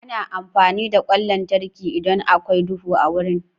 Ana amfani da ƙwan lantarki idan akwai duhu a wuri.